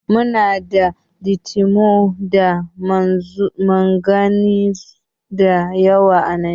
Muna da litiwom da manganiz da yawa a Najeriya.